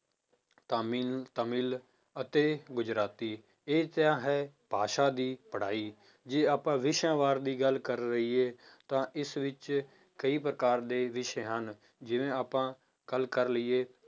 ਤਾਮਿਨ ਤਾਮਿਲ ਅਤੇ ਗੁਜਰਾਤੀ ਇਹ ਤਾਂ ਹੈ ਭਾਸ਼ਾ ਦੀ ਪੜ੍ਹਾਈ, ਜੇ ਵਿਸ਼ਿਆਂ ਵਾਰ ਦੀ ਗੱਲ ਕਰ ਲਈਏ ਤਾਂ ਇਸ ਵਿੱਚ ਕਈ ਪ੍ਰਕਾਰ ਦੇ ਵਿਸ਼ੇ ਹਨ, ਜਿਵੇਂ ਆਪਾਂ ਗੱਲ ਕਰ ਲਈਏ